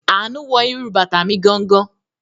Àánú wọ irú bàtà mi gangan.